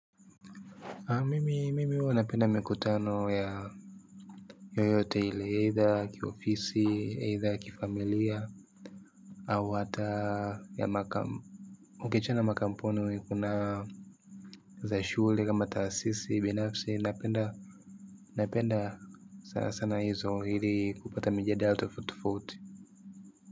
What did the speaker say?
Mimi, mimi huwa napenda mikutano ya yoyote ile, either kiofisi, either kifamilia, au hata ya makam, ukiachana na makampuni kuna za shule, kama taasisi binafsi, napenda, napenda sana hizo ili kupata mijadala tofautitofauti.